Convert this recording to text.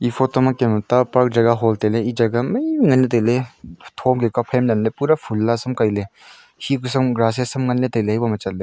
e photo ma kem e ta par park jaga aho ley tailey e jaga maimai ley ngan tailey tho lemka phai lemley pura phun la sam kailey hi pasam grass ham nganley tailey eboma chatley--